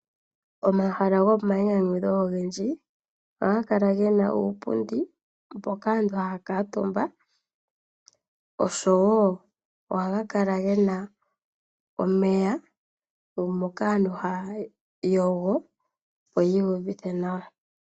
Omahala gomainyanyudho ogendji ohaga kala gena uupundi mpoka aantu haya kuutumba oshowo ohaga kala gena omeya moka aantu haya yogo opo yi iyuvithe nawa.